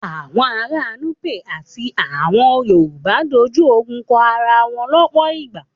Àwọn ará Nupe àti àwọn Yorùbá dojú ogun kọ ara wọn lọ́pọ̀ ìgbà.